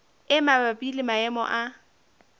e mabapi le maemo a